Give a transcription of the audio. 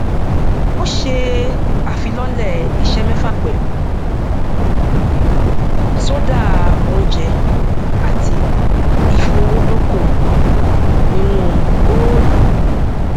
ó ṣe àfilọlẹ iṣẹ mẹfà pẹlú sódà oúnjẹ àti ìfowódókòwò nínú goolu